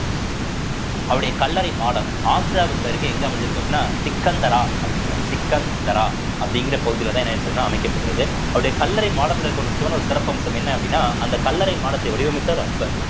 அவருடைய கல்லறை மாடம் ஆக்ராவுக்கு அருகே எங்க அமைஞ்சிருக்கு அப்படின்னா சிக்கந்தரா அப்படிங்கிற சிக்கந்தரா அப்படிங்கிற பகுதியிலதான் என்ன ஆயிருக்குதுன்னா அமைக்கப்பட்டிருக்கு அவருடைய கல்லறை மாடத்துல இருக்கிற ஒரு முக்கியமான ஒரு சிறப்பு அம்சம் என்ன அப்படின்னா அந்த கல்லறை மாடத்தை வடிவமைத்தவர் அக்பர்